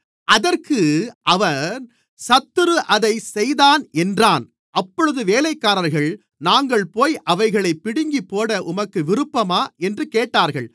அதற்கு அவன் சத்துரு அதைச் செய்தான் என்றான் அப்பொழுது வேலைக்காரர்கள் நாங்கள்போய் அவைகளைப் பிடுங்கிப்போட உமக்கு விருப்பமா என்று கேட்டார்கள்